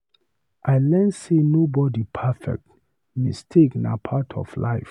I learn sey nobody perfect, mistakes na part of life.